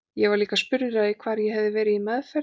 Ég var líka spurður að því hvar ég hefði verið í meðferð.